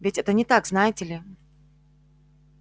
ведь это не так знаете ли